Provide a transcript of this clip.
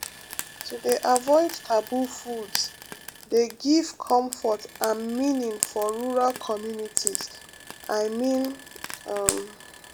to dey avoid taboo foods dey give comfort and meaning for rural communities i mean um